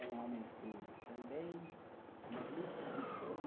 Era um homem culto também, mas muito preguiçoso.